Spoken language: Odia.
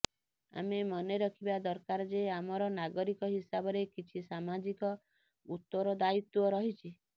ଆମେ ମନେରଖିବା ଦରକାର ଯେ ଆମର ନାଗରିକ ହିସାବରେ କିଛି ସାମାଜିକ ଉତ୍ତରଦାୟିତ୍ୱ ରହିଛି